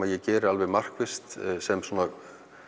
ég geri markvisst sem svona